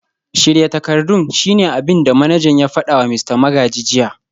Shirya takardun shine abin da manajan ya fada wa Mista Magaji jiya